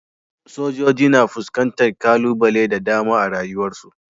sojoji na fuskantar kalubale da dama a rayuwarsu.